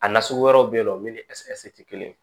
A na sugu wɛrɛw bɛ yen nɔ min ni ɛseke te kelen